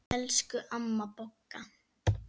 Elsku amma Bogga.